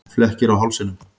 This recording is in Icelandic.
Flekkir á hálsinum.